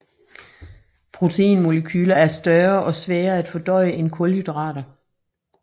Proteinmolekyler er større og sværere at fordøje end kulhydrater